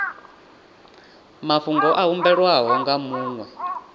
mafhungo a humbelwaho nga muṅwe